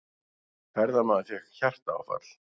Ferðamaður fékk hjartaáfall